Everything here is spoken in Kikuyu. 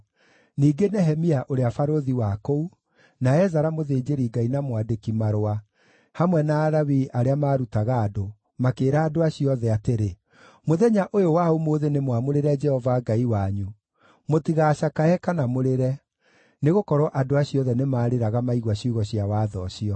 Ningĩ Nehemia ũrĩa barũthi wa kũu na Ezara mũthĩnjĩri-Ngai na mwandĩki-marũa hamwe na Alawii arĩa maarutaga andũ, makĩĩra andũ acio othe atĩrĩ, “Mũthenya ũyũ wa ũmũthĩ nĩmwamũrĩre Jehova Ngai wanyu. Mũtigaacakaye kana mũrĩre.” Nĩgũkorwo andũ acio othe nĩmarĩraga maigua ciugo cia Watho ũcio.